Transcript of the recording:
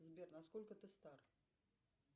сбер насколько ты стар